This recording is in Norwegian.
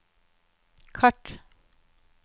kart